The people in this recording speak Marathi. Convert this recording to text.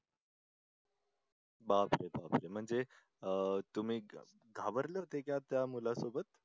बापरे म्हणजे अह तुम्ही घाबरले होते का त्या मुलासोबत?